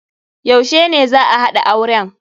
Yaushe ne za'a haɗa auren?